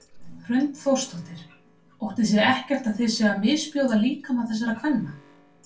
Hrund Þórsdóttir: Óttist þið ekkert að þið séuð að misbjóða líkama þessara kvenna?